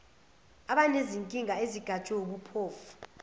abanezinkinga ezigajwe wubumpofu